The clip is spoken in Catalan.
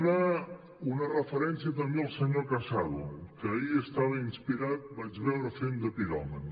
una referència també al senyor casado que ahir estava inspirat vaig veure fent de piròman